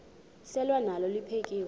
selwa nalo liphekhwe